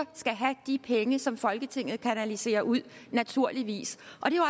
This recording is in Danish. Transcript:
skal have de penge som folketinget kanaliserer ud naturligvis